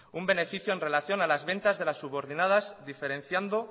un beneficio en relación a las ventas de las subordinadas diferenciando